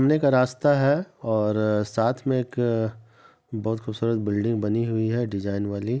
ने का रास्ता है और अ साथ में एक बहुत खूबसूरत बिल्डिंग बनी हुई है डिजाइन वाली।